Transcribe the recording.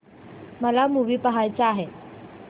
मला मूवी पहायचा आहे